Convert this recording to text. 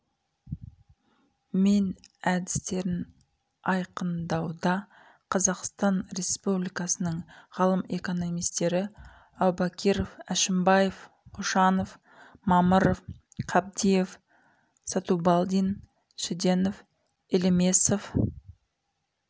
мен әдістерін айқандауда қазақстан республикасының ғалым экономистері әубакиров әшімбаев кошанов мамыров қабдиев сатубалдин шеденов елемесов